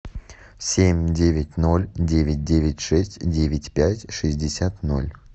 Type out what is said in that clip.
семь девять ноль девять девять шесть девять пять шестьдесят ноль